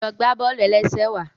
Lọ gbà bọ́ọ̀lù-ẹlẹ́sẹ̀ wàá